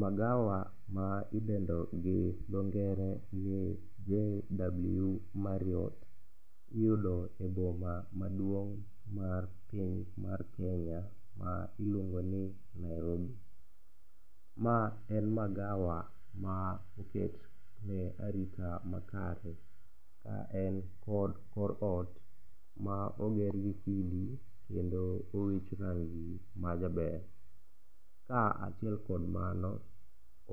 Magawa ma idendo gi dho ngere ni JW MARRIOTT iyudo e boma maduong' mar piny mar Kenya ma iluongo ni Nairobi. Ma en magawa ma oketne arita makare ka en kod kor ot ma ogergi kidi kendo owich rangi majaber. Kaachiel kod mano,